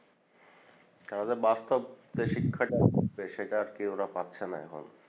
তাদের বাস্তব যে শিক্ষাটা হচ্ছে সেটা কেও ওরা পাচ্ছেনা এখন